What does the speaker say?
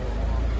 Hə, boş qoy.